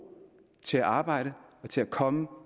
til at arbejde og til at komme